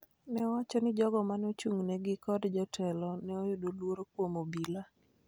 ne owacho ni jogo mane ochung� negi kod jotelo ne yudo luoro kuom obila.